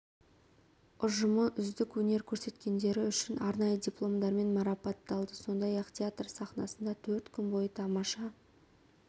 ұжымы үздік өнер көрсеткендері үшін арнайы дипломдармен марапатталды сондай-ақ театр сахнасында төрт күн бойы тамаша